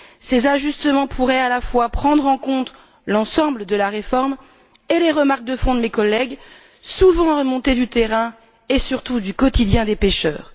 Ces ajustements pourraient prendre en compte, à la fois, l'ensemble de la réforme et les remarques de fond de mes collègues, souvent remontées du terrain et surtout du quotidien des pêcheurs.